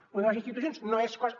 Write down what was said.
lo de les institucions no és cosa